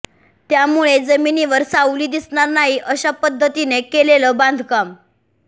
त्यामुळे जमिनीवर सावली दिसणार नाही अश्या पद्धतीने केलेलं बांधकाम